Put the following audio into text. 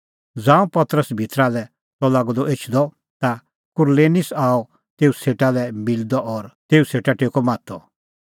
ज़ांऊं पतरस भितरा लै त लागअ द एछदअ ता कुरनेलिस आअ तेऊ सेटा लै मिलदअ और तेऊ सेटा टेक्कअ माथअ